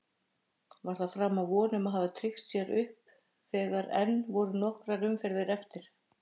Var það framar vonum að hafa tryggt sér upp þegar enn voru nokkrar umferðir eftir?